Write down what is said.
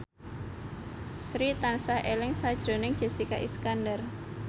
Sri tansah eling sakjroning Jessica Iskandar